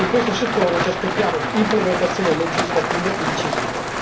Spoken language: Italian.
in questo settore ci aspettiamo implementazioni legislative incisive.